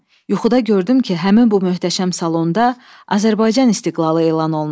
Yuxuda gördüm ki, həmin bu möhtəşəm salonda Azərbaycan istiqlalı elan olunub.